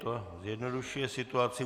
To zjednodušuje situaci.